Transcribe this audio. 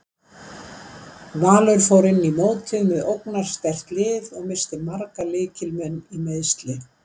Valur fór inn í mótið með ógnarsterkt lið og missti marga lykil leikmenn í meiðsli.